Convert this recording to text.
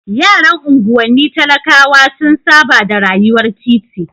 Yaran unguwanni talakawa sun saba da rayuwar titi.